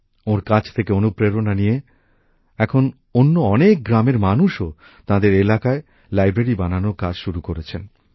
ওঁর কাজ থেকে অনুপ্রেরণা নিয়ে এখন অন্য অনেক গ্রামের মানুষও তাঁদের এলাকায় গ্রন্থাগার বানানোর কাজ শুরু করেছেন